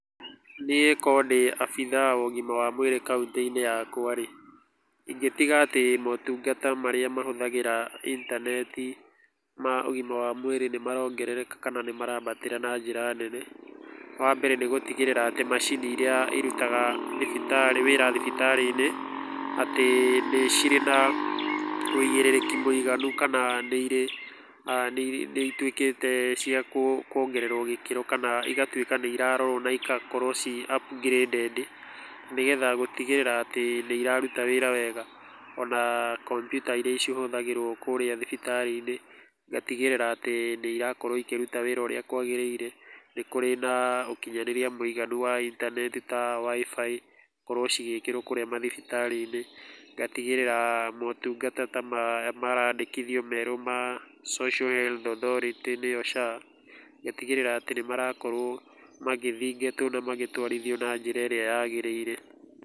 Niĩ okorwo ndĩ obitha wa ũgima wa mwĩrĩ kaũntĩ-inĩ yakwa rĩ, ingĩtiga atĩ motungata marĩa mahũthagĩra intaneti ma ũgima wa mwĩrĩ nĩ marongereka kana nĩ marambatĩra na njĩra nene, wa mbere nĩ gũtigĩrĩra atĩ macini iria irutaga wĩra thibitarĩ-inĩ atĩ nĩ cirĩ na wũigĩrĩrĩki mũigana kana nĩirĩ, nĩituĩkĩte cia kwongererwo gĩkĩro kana igatuĩka nĩirarorwo na igatuĩka ciĩ upgraded nĩgetha gũtigĩrĩra atĩ nĩ ĩraruta wĩra wega ona komputa iria cihũthagĩrwo kũrĩa thibitarĩ-inĩ ngatigĩrĩra atĩ nĩ ĩraruta wĩra ũrĩa kwagĩrĩire, nĩ kũrĩ na ũkinyanĩria mũiganu wa intaneti ta WIFI , ikorwo cigĩkĩrwo kũrĩa mathibitarĩ-inĩ, ngatigĩrĩra motungata ta maya marandĩkithio merũ Social Health Authority nĩyo SHA, ngatigĩrĩra atĩ nĩ marakorwo magĩthingatwo na magĩtwarithio na njĩra ĩrĩa yagĩrĩire.